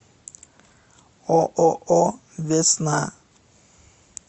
ооо весна